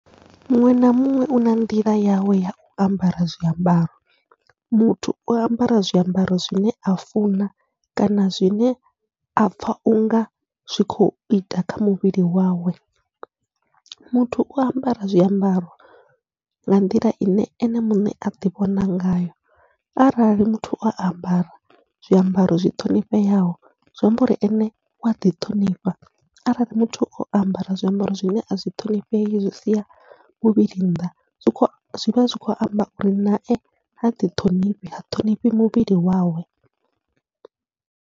Muṅwe na muṅwe u na nḓila yawe yau ambara zwiambaro, muthu u ambara zwiambaro zwine a funa kana zwine apfha unga zwi kho ita kha muvhili wawe, muthu u ambara zwiambaro nga nḓila ine ene muṋe aḓi vhona ngayo arali muthu o ambara zwiambaro zwi ṱhonifheaho zwi amba uri ene wa ḓiṱhonifha. Arali muthu o ambara zwiambaro zwine azwi ṱhonifhei zwi sia muvhili nnḓa, zwi kho zwivha zwi kho amba uri nae ha ḓithonifhi ha ṱhonifhi muvhili wawe.